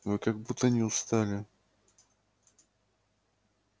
вы как будто не устали